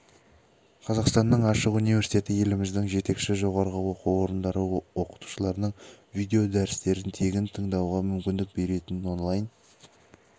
қазақстанның ашық университеті еліміздің жетекші жоғарғы оқу орындары оқытушыларының видео дәрістерін тегін тыңдауға мүмкіндік беретін онлайн